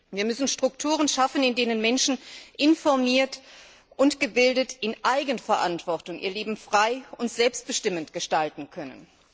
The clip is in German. Wir müssen Strukturen schaffen, in denen Menschen informiert und gebildet in Eigenverantwortung ihr Leben frei und selbstbestimmend gestalten können.